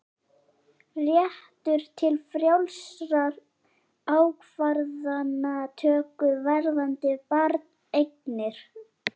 Réttur til frjálsrar ákvarðanatöku varðandi barneignir